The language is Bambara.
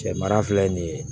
Cɛ mara filɛ nin ye